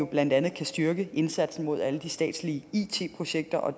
blandt andet kan styrke indsatsen med alle de statslige it projekter og